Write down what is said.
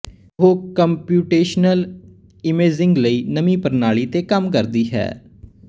ਉਹ computational imaging ਲਈ ਨਵੀਂ ਪ੍ਰਣਾਲੀ ਤੇ ਕੰਮ ਕਰਦੀ ਹੈ